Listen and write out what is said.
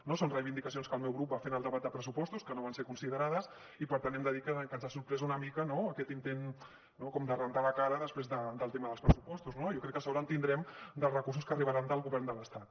no són reivindicacions que el meu grup va fer en el debat de pressupostos que no van ser considerades i per tant hem de dir que ens ha sorprès una mica no aquest intent no com de rentar la cara després del tema dels pressupostos no jo crec que sort en tindrem dels recursos que arribaran del govern de l’estat